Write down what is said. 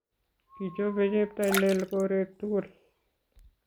Kichope cheptailel koret tugul